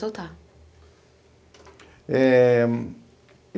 Soltar. Eh